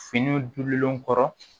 Finiw dunlen kɔrɔ